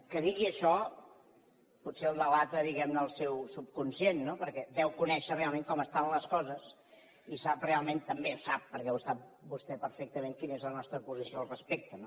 que digui això potser el delata diguem ne el seu subconscient perquè deu conèixer realment com estan les coses i sap realment també ho sap perquè ho sap vostè perfectament quina és la nostra posició al respecte